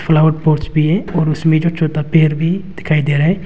Flower pot भी है और उसमें जो छोटा पेड़ भी दिखाई दे रहा है।